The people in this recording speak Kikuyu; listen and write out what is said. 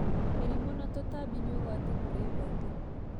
Mĩrimũ na tũtambi nĩ ũgwati kũrĩ mbembe.